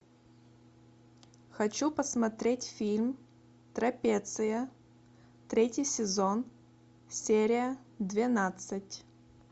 хочу посмотреть фильм трапеция третий сезон серия двенадцать